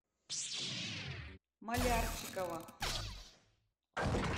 малярчикова